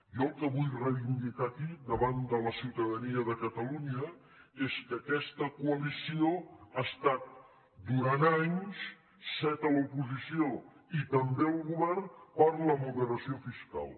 jo el que vull reivindicar aquí davant de la ciutadania de catalunya és que aquesta coalició ha estat durant anys set a l’oposició i també al govern per la moderació fiscal